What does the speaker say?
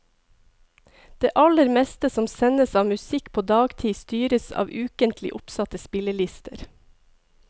Det aller meste som sendes av musikk på dagtid styres av ukentlig oppsatte spillelister.